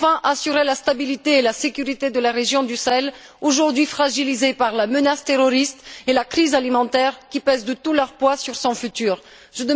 assurer, enfin, la stabilité et la sécurité de la région du Sahel, aujourd'hui fragilisée par la menace terroriste et la crise alimentaire qui pèsent de tout leur poids sur son avenir.